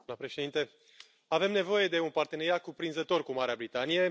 Doamna președintă, avem nevoie de un parteneriat cuprinzător cu Marea Britanie.